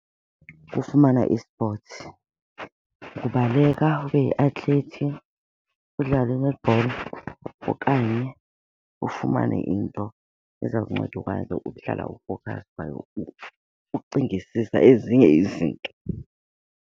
Kufumana i-sports, ukubaleka ube yi-athlete, udlale i-netball okanye ufumane into eza kunceda ukwazi ukuhlala u-focused kwaye ucingisisa ezinye izinto.